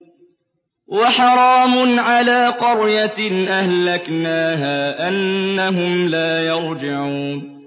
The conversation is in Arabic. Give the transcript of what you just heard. وَحَرَامٌ عَلَىٰ قَرْيَةٍ أَهْلَكْنَاهَا أَنَّهُمْ لَا يَرْجِعُونَ